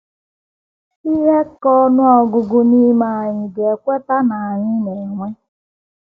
Ihe ka n’ọnụ ọgụgụ n’ime anyị ga - ekweta na anyị na - enwe.